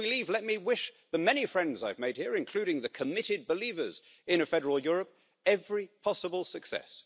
So as we leave let me wish the many friends I've made here, including the committed believers in a federal Europe, every possible success.